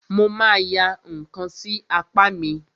Mo ma ya ǹkan sí apá mi.